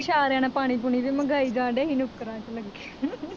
ਇਸ਼ਾਰਿਆਂ ਨਾਲ ਪਾਣੀ ਪੂਣੀ ਵੀ ਮੰਗਾਈ ਜਾਣਡੇ ਸੀ ਲੱਗੇ